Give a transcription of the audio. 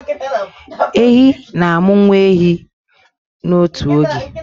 Ehi na-amụ nwa ehi 1 n'otu oge